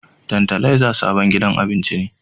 Tantalaiza sabon gidan abincin ne